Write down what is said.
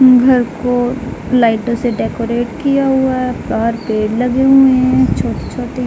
घर को लाइटों से डेकोरेट किया हुआ है। बाहर पेड़ लगे हुए है छोटे-छोटे--